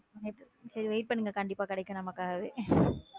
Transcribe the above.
சேரி சேரி wait பண்ணுங்க கண்டிப்பா கிடைக்கும் நமக்காகவே.